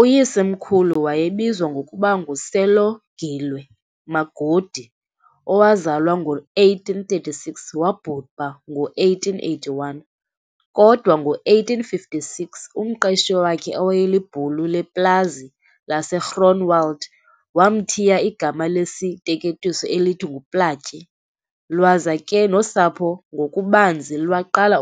Uyisemkhulu wayebizwa ngokuba nguSelogilwe Magodi, owazalwa ngo-1836-wabhubha ngo1881, kodwa ngo1856, umqeshi wakhe, owayelibhulu leplazi laseGroenewald, wamthiya igama lesiteketiso elithi nguPlaatje, lwaza ke nosapho ngokubanzi lwaqala